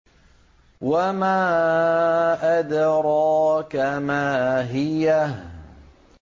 وَمَا أَدْرَاكَ مَا هِيَهْ